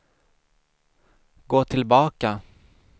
gå tillbaka